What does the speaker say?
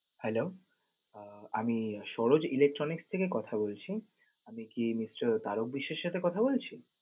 Hello, আহ আমি Saroj electronic থেকে কথা বলছি, আমি কি Mr. তারক বিশ্বের সাথে কথা বলছি?